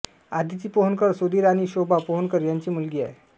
आदिती पोहनकर सुधीर आणि शोभा पोहनकर यांची मुलगी आहे